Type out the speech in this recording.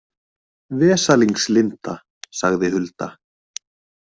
Vesalings Linda, sagði Hulda.